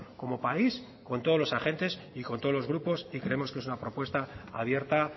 como país con todos los agentes y con todos los grupos y creemos que es una propuesta abierta